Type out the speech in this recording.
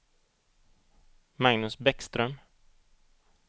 Magnus Bäckström